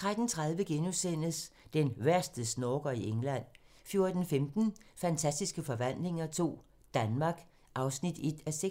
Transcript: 13:30: Den værste snorker i England * 14:15: Fantastiske forvandlinger II - Danmark (1:6)